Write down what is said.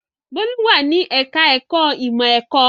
Bólú wà ní ẹ̀ka-ẹ̀kọ́ ìmọ̀-ẹ̀kọ́.